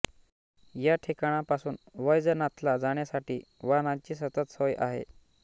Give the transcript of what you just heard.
या ठिकाणांपासून वैजनाथला जाण्यासाठी वाहनाची सतत सोय आहे